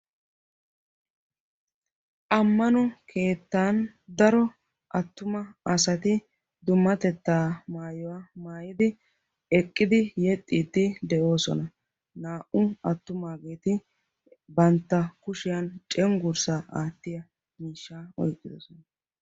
Ammano keettaan daro attuma asati daro dummatettaa maayuwa maayidi eqqidi yexxiidi de'oosona. naa"u attumaageti bantta kushshiyaan cengurssaa aattiyaa mishshaa oyqqidosona.